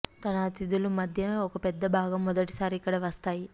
తన అతిథులు మధ్య ఒక పెద్ద భాగం మొదటి సారి ఇక్కడ వస్తాయి